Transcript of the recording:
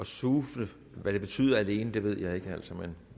suseme betyder alene ved jeg ikke men